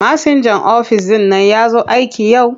Masinjan ofis ɗin nan ya zo aiki yau?